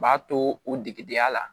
U b'a to o degedenya la